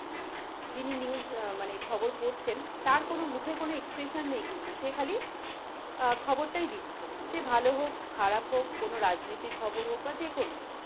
যিনি news অ্যাঁ মানে খবর পড়ছেন, তার কোনো, মুখের কোনো expression নেই কিন্তু, সে খালি অ্যাঁ খবরতাই দিচ্ছে. সে ভালো হোক, খারাপ হোক, কোনো রাজনৈতিক খবর হোক বা যে কোনো.